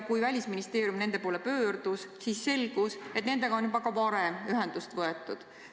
Kui Välisministeerium nende poole pöördus, siis selgus, et nendega on juba varem ühendust võetud.